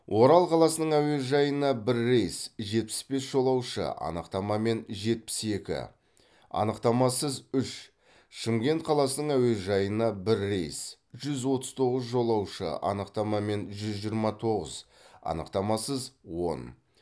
орал қаласының әуежайына бір рейс жетпіс бес жолаушы анықтамамен жетпіс екі анықтамасыз үш шымкент қаласының әуежайына бір рейс жүз отыз тоғыз жолаушы анықтамамен жүз жиырма тоғыз анықтамасыз он